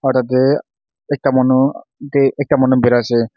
Tate ekta manu te ektamanu parai ase.